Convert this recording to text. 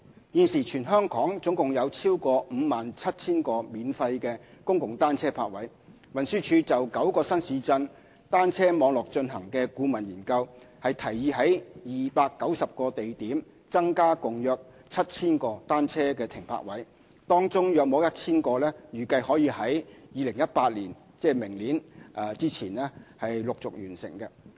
現時全港共有超過 57,000 個免費公共單車泊位，運輸署就9個新市鎮單車網絡進行的顧問研究，提議在290個地點增加共約 7,000 個單車停泊位，當中約 1,000 個預計可於2018年前陸續完成。